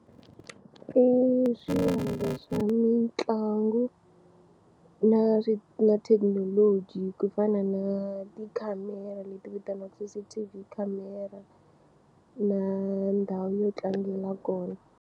I swa mitlangu na swi na thekinoloji ku fana na tikhamera leti vitaniwaku C_C_T_V Camera na ndhawu yo tlangela kona.